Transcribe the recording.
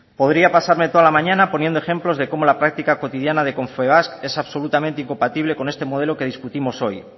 podría pasarme toda la mañana poniendo ejemplos de cómo la práctica cotidiana de confebask es absolutamente incompatible con este modelo que discutimos hoy